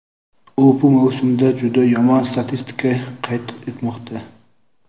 U bu mavsumda juda yomon statistika qayd etmoqda.